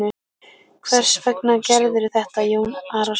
Hvers vegna gerirðu þetta Jón Arason?